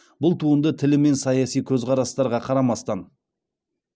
бұл туынды тілі мен саяси көзқарастарға қарамастан